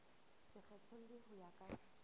se kgethollwe ho ya ka